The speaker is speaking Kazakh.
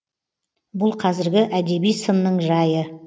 бұл қазіргі әдеби сынның жайы